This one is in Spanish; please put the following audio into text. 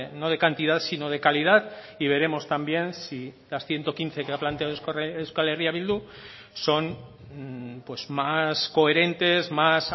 no de cantidad sino de calidad y veremos también si las ciento quince que ha planteado euskal herria bildu son más coherentes más